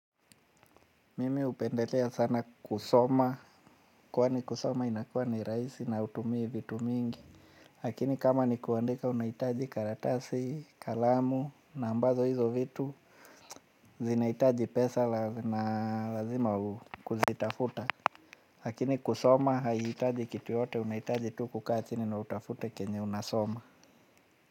Mimi hupendelea sana kusoma, kwani kusoma inakuwa ni rahisi na hutumii vitu mingi lakini kama ni kuandika unahitaji karatasi, kalamu, na ambazo hizo vitu zinahitaji pesa na lazima kuzitafuta lakini kusoma, haihitaji kitu yote, unaihitaji tu kukaa chini na utafute chenye unasoma.